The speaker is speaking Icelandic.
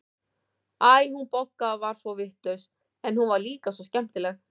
Æ, hún Bogga var svo vitlaus, en hún var líka svo skemmtileg.